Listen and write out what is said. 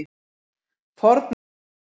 Fornmenn tefldu.